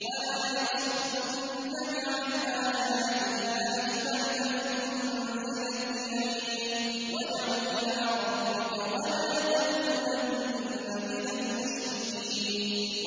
وَلَا يَصُدُّنَّكَ عَنْ آيَاتِ اللَّهِ بَعْدَ إِذْ أُنزِلَتْ إِلَيْكَ ۖ وَادْعُ إِلَىٰ رَبِّكَ ۖ وَلَا تَكُونَنَّ مِنَ الْمُشْرِكِينَ